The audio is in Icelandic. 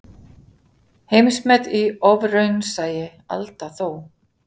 Heimsmet í ofraunsæi, Alda þó.